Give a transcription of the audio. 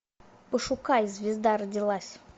пошукай звезда родилась